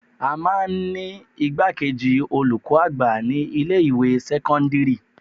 À máa ń ní igbákejì olùkọ́ àgbà ní ilé ìwé sẹ́kọ́ńdírì.